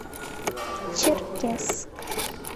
черкесск